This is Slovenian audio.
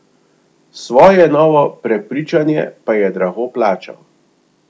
Svoje novo prepričanje pa je drago plačal.